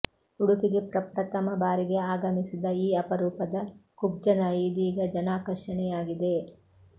ಉಡುಪಿಗೆ ಪ್ರಪ್ರಥಮ ಬಾರಿಗೆ ಆಗಮಿಸಿದ ಈ ಅಪರೂಪದ ಕುಬ್ಜ ನಾಯಿ ಇದೀಗ ಜನಾಕರ್ಷಣೆಯಾಗಿದೆ